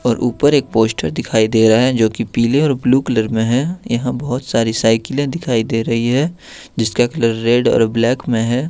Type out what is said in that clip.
और ऊपर एक पोस्ट दिखाई दे रहा है जो की पीले और ब्लू कलर में है यहां बहुत सारी साइकिलें है दिखाई दे रही हैं जिसका कलर रेड और ब्लैक में है।